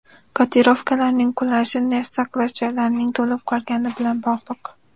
Kotirovkalarning qulashi neft saqlash joylarining to‘lib qolgani bilan bog‘liq.